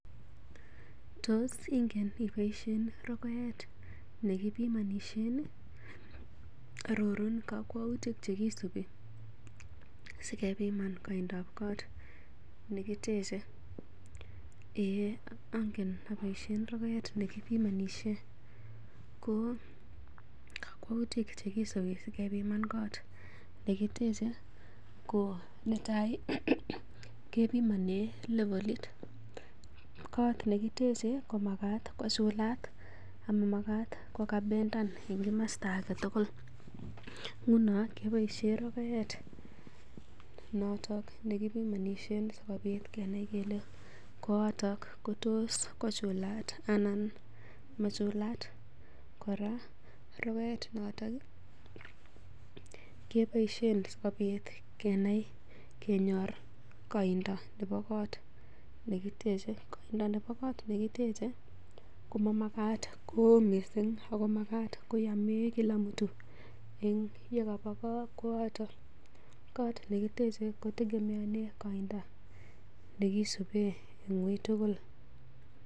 Tos ingen iboisien rogoet ne kibimonisien ii? Arorun kokwoutik che kisubi si kebiman koindab kot ne kitechei? Eiy ange aboisien rogoet ne kibimonishen ko kakwautik che kisibi sikebiman kot ne kiteche ko netai kebimani levelit. Kot ne kiteche komagaat kochulat ama magat kogabenden en komosta age tugul. Nguno keboisien rogoet noto nekibimonishen sikobit kenai kele koato kotos kochulat anan machulat. Kora rogoet noton ii keboisien sikobit kenai kenyor koindo nebo kot nekiteche. Koindo nebo koot nekitech komamagaat koo mising ago magat koyome kila mtu en ye kaba kooto. Koot nekiteche kotegemeane koindo nekisube en uitugul.